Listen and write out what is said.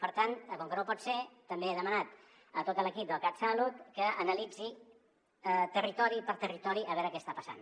per tant com que no pot ser també he demanat a tot l’equip del catsalut que analitzi territori per territori per veure què està passant